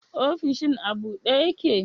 Ofishin a bude yake?